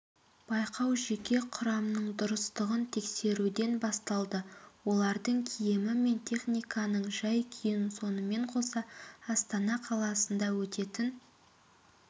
байқау жеке құрамның дұрыстығын тексеруден басталды олардың киімі мен техниканың жай-күйін сонымен қоса астана қаласында өтетін